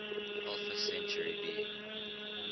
alpha centauri b